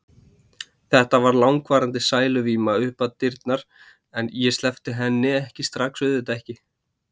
Þetta varð langvarandi sæluvíma upp við dyrnar, ég sleppti henni ekki strax, auðvitað ekki.